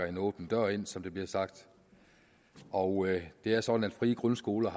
en åben dør ind som der bliver sagt og det er sådan at frie grundskoler